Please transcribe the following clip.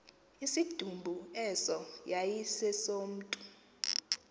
isidumbu eso yayisesomntu